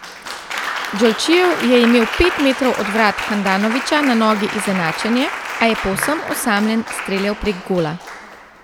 Džolčijev je imel pet metrov od vrat Handanovića na nogi izenačenje, a je povsem osamljen streljal prek gola.